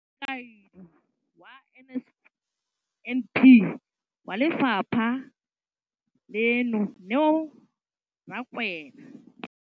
Mokaedi wa NSNP kwa lefapheng leno, Neo Rakwena,